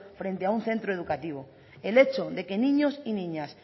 frente a un centro educativo el hecho de que niños y niñas